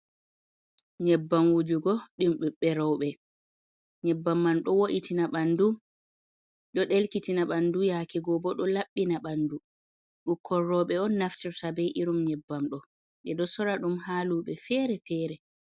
Nyebbam wujugo ɗum ɓiɓɓe roɓe. Nyebbam man ɗo wo’itina ɓandu, ɗo ɗelkitina ɓandu, yaake go bo ɗo laɓɓina ɓandu. Ɓukkon roɓe on naftirta bei irin nyebbam ɗo. Ɓeɗo sora ɗum ha luɓe fere-fere.